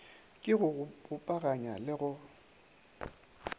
ke go bopaganya le go